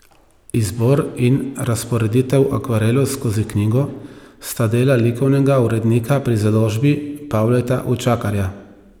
Izbor in razporeditev akvarelov skozi knjigo sta delo likovnega urednika pri založbi Pavleta Učakarja.